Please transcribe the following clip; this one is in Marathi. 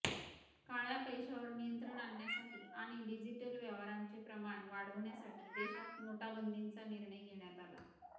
काळ्या पैशावर नियंत्रण आणण्यासाठी आणि डिजिटल व्यवहारांचे प्रमाण वाढविण्यासाठी देशात नोटाबंदीचा निर्णय घेण्यात आला